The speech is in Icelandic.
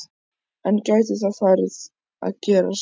En gæti það farið að gerast?